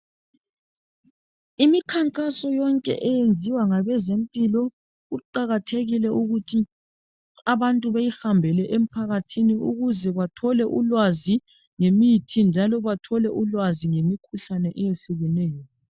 Imikhankaso yonke eyenziwa ngabezempilo kuqakathekile ukuthi abantu beyihambele emphakathini ukuze bethole ulwazi ngemithi njalo bathole ulwazi ngemikhuhlane eyehlukeneyo.